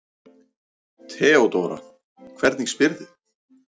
THEODÓRA: Hvernig spyrðu?